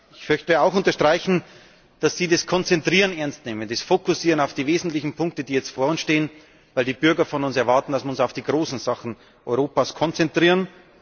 Ich möchte auch unterstreichen, dass Sie das Konzentrieren ernstnehmen, das Fokussieren auf die wesentlichen Punkte, die jetzt vor uns stehen, weil die Bürger von uns erwarten, dass wir uns auf die großen Sachen Europas konzentrieren.